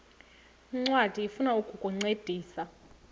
ncwadi ifuna ukukuncedisa